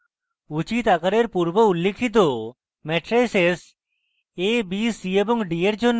উচিত আকারের পূর্বউল্লিখিত মেট্রাইসেস a b c এবং d for জন্য